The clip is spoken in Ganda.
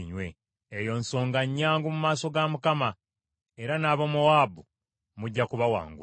Eyo nsonga nnyangu mu maaso ga Mukama , era n’Abamowaabu mujja kubawangula.